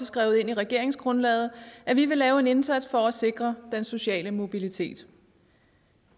skrevet ind i regeringsgrundlaget at vi vil lave en indsats for at sikre den sociale mobilitet